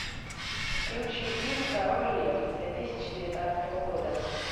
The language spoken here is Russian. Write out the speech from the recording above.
включи фильм король лев две тысячи девятнадцатого года